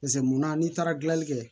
Paseke munna n'i taara gilanli kɛ